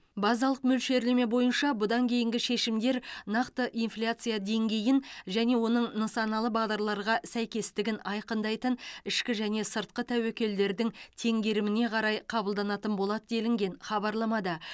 базалық мөлшерлеме бойынша бұдан кейінгі шешімдер нақты инфляция деңгейін және оның нысаналы бағдарларға сәйкестігін айқындайтын ішкі және сыртқы тәуекелдердің теңгеріміне қарай қабылданатын болады делінген хабарламада